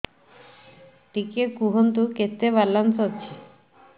ଟିକେ କୁହନ୍ତୁ କେତେ ବାଲାନ୍ସ ଅଛି